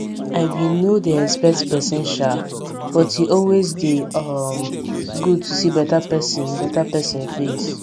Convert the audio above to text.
i be nor dey expect pesin sha but e always dey um good to see beta pesin beta pesin face